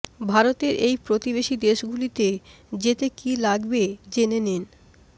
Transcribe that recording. ভারতের এই প্রতিবেশী দেশগুলিতে যেতে কী লাগবে জেনে নিন